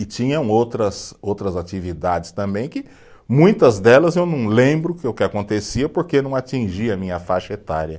E tinham outras, outras atividades também que, muitas delas eu não lembro que o que acontecia, porque não atingia a minha faixa etária.